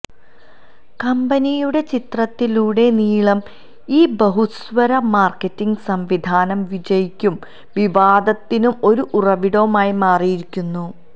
കമ്പനിയുടെ ചരിത്രത്തിലുടനീളം ഈ ബഹുസ്വര മാർക്കറ്റിംഗ് സംവിധാനം വിജയിക്കും വിവാദത്തിനും ഒരു ഉറവിടമായി മാറിയിരിക്കുന്നു